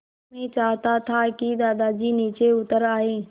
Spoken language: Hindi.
मैं चाहता था कि दादाजी नीचे उतर आएँ